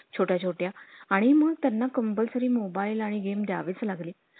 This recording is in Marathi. आणि कसे ते reel star आले की आमच्या दुकानावर पण घ्या बोलवून म्हणजे कसं तेवढीच आमच्या दुकानाची प्रसिद्धी होईल.